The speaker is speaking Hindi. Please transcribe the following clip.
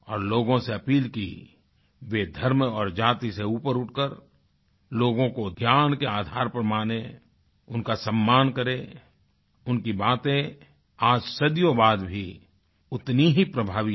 और लोगों से अपील की वे धर्म और जाति से ऊपर उठ कर लोगों को ज्ञान के आधार पर मानें उनका सम्मान करें उनकी बातें आज सदियों बाद भी उतनी ही प्रभावी है